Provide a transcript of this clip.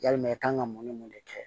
Yalima i kan ka mun ni mun de kɛ